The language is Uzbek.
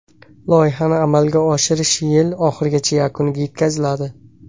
Loyihani amalga oshirish yil oxirigacha yakuniga yetkaziladi.